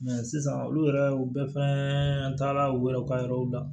sisan olu yɛrɛ bɛɛ fɛnɛ taara u yɛrɛw ka yɔrɔw la